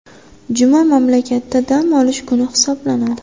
Juma mamlakatda dam olish kuni hisoblanadi.